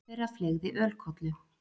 Einn þeirra fleygði ölkollu.